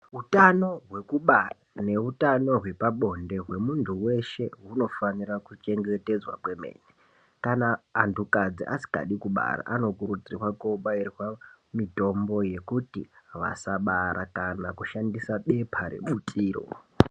Utano hwekubara neutano hwepabonde hwemuntu hweshe hunofanira kuchengetedzwa kwemene kana antu kadzi asikadi kubara anokurudzirwa kobairwa Mitombo yekuti vasabara kana kushandisa bepa rebutiro.